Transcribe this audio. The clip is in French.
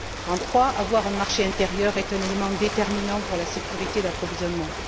En trois, avoir un marché intérieur est un élément déterminant pour la sécurité d'approvisionnement.